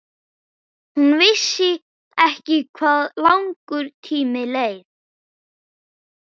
Hún vissi ekki hvað langur tími leið.